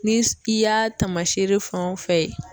Ni i y'a tamasere fɛn o fɛn ye